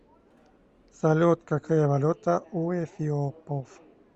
салют какая валюта у эфиопов